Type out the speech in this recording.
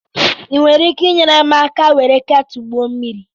Ị nwere ike ịnyere m aka were ketulu gbuo mmiri?